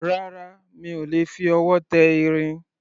Rárá, mi ò lè fi ọwọ́ tẹ irin